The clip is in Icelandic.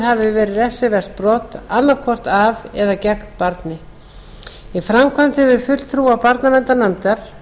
hafi verið refsivert brot annaðhvort af eða gegn barni í framkvæmd hefur fulltrúa barnaverndarnefndar